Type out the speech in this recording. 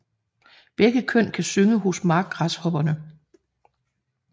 Begge køn kan synge hos markgræshopperne